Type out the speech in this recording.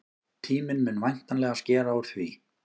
Tíminn mun væntanlega skera úr því.